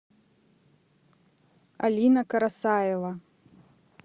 алина карасаева